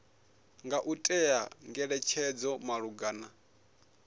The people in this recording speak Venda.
nga u ṅea ngeletshedzo malugana